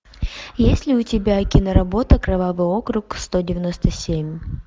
есть ли у тебя киноработа кровавый округ сто девяносто семь